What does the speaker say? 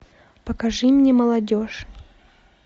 покажи мне молодежь